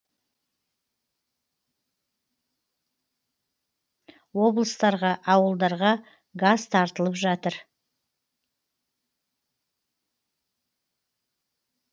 облыстарға ауылдарға газ тартылып жатыр